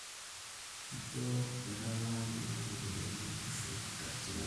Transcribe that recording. ijio kaitalaaki nanu ropiyani e tuition katitin aare